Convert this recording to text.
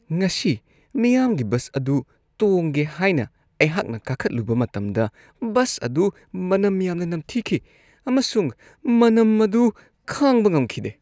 ꯉꯁꯤ ꯃꯤꯌꯥꯝꯒꯤ ꯕꯁ ꯑꯗꯨ ꯇꯣꯡꯒꯦ ꯍꯥꯏꯅ ꯑꯩꯍꯥꯛꯅ ꯀꯥꯈꯠꯂꯨꯕ ꯃꯇꯝꯗ ꯕꯁ ꯑꯗꯨ ꯃꯅꯝ ꯌꯥꯝꯅ ꯅꯝꯊꯤꯈꯤ ꯑꯃꯁꯨꯡ ꯃꯅꯝ ꯑꯗꯨ ꯈꯥꯡꯕ ꯉꯝꯈꯤꯗꯦ ꯫